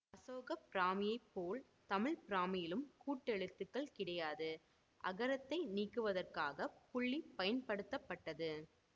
அசோக பிராமியைப் போல் தமிழ் பிராமியில் கூட்டெழுத்துக்கள் கிடையாது அகரத்தை நீக்குவதற்காகப் புள்ளி பயன்படுத்தப்பட்டது